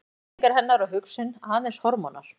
Tilfinningar hennar og hugsun aðeins hormónar?